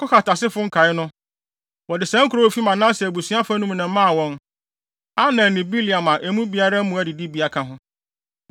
Kohat asefo nkae no, wɔde saa nkurow a efi Manase abusua fa no mu na ɛmaa wɔn: Aner ne Bileam a emu biara mmoa adidibea ka ho.